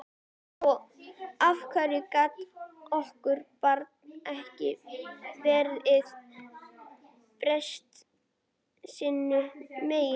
Af hverju gat okkar barn ekki verið merkt sínu meini?